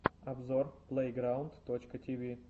обзор плэйграунд точка тиви